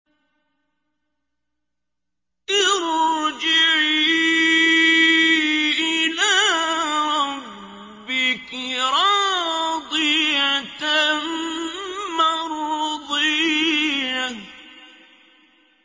ارْجِعِي إِلَىٰ رَبِّكِ رَاضِيَةً مَّرْضِيَّةً